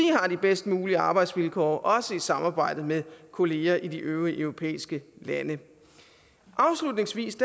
har de bedst mulige arbejdsvilkår også i samarbejde med kolleger i de øvrige europæiske lande afslutningsvis